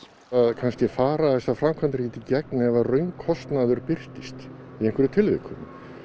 kannski fara þessar framkvæmdir ekkert í gegn ef raunkostnaður birtist í einhverjum tilvikum